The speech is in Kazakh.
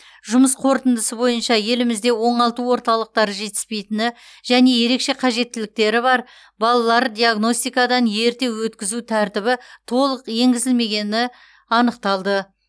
жұмыс қорытындысы бойынша елімізде оңалту орталықтары жетіспейтіні және ерекше қажеттіліктері бар балалар диагностикадан ерте өткізу тәртібі толық енгізілмегені анықталды